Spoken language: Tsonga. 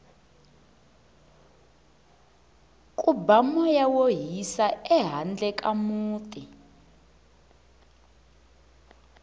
ku ba moya wo hisa ehandle ka muti